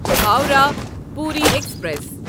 Howrah Puri express